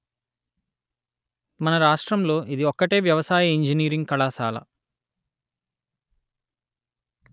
మన రాష్ట్రంలో ఇది ఒక్కటే వ్యవసాయ ఇంజనీరింగ్ కళాశాల